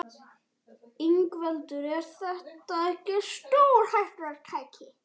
Ingveldur: Er þetta ekki stórhættulegt tæki?